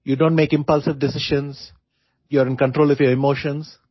You don't make impulsive decisions; you are in control of your emotions